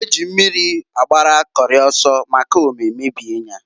Eji mmiri agbara Kori oso, maka ome mebie nya.